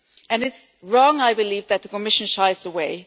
It is wrong, I believe, that the Commission shies away.